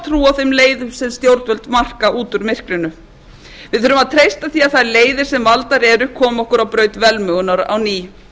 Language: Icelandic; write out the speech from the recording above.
á þeim leiðum sem stjórnvöld marka út úr myrkrinu við þurfum að treysta því að þær leiðir sem valdar eru komi okkur á braut velmegunar á ný